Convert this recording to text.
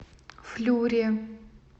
флюре